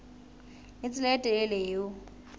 le tsela e telele eo